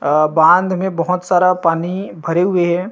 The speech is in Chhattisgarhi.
अ बाँध मे बहोत सारा पानी भरे हुए हे।